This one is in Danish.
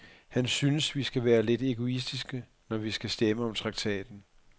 Han synes, vi skal være lidt egoistiske, når vi skal stemme om traktaten.